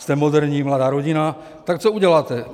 Jste moderní mladá rodina, tak co uděláte?